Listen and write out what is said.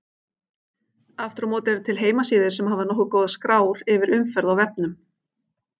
Aftur á móti eru til heimasíður sem hafa nokkuð góðar skrár yfir umferð á vefnum.